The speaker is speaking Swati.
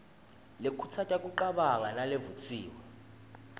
lekhutsata kucabanga nalevutsiwe